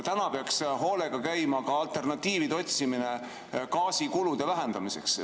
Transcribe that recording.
Täna peaks hoolega käima ka alternatiivide otsimine gaasikulude vähendamiseks.